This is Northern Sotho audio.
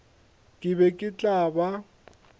ke be ke tla ba